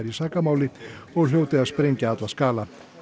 í sakamáli og hljóti að sprengja alla skala